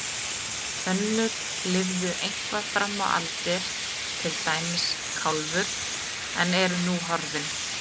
Önnur lifðu eitthvað fram á aldir, til dæmis Kálfur, en eru nú horfin.